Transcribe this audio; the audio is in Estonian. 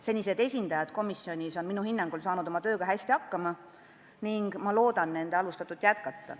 Senised esindajad komisjonis on minu hinnangul saanud oma tööga hästi hakkama ning ma loodan nende alustatut jätkata.